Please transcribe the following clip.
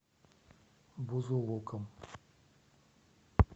бузулуком